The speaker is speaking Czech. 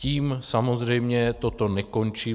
Tím samozřejmě toto nekončí.